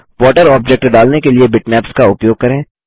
water object डालने के लिए बिटमैप्स का उपयोग करें